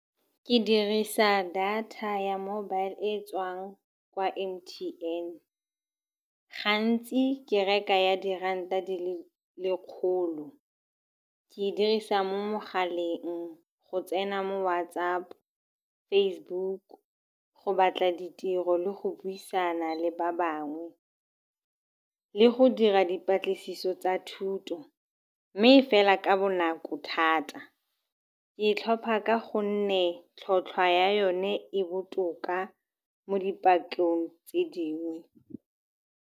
Ke dirisa data ya mobile e tswang kwa M_T_N. Gantsi ke reka ya diranta di le lekgolo. Ke dirisa mo mogaleng go tsena mo WhatsApp, Facebook, go batla ditiro le go buisana le ba bangwe le go dira dipatlisiso tsa thuto, mme e fela ka bonako thata. Ke e tlhopha ka gonne tlhotlhwa ya yone e botoka mo dipatlong tse dingwe.